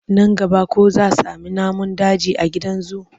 Nan gaba ko za sami namun daji a gidan zu?